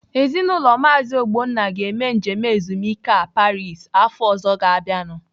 Ezinaụlọ Maazi Ogbonna ga-eme njem ezumike a Paris afọ ọzọ ga-abịanu.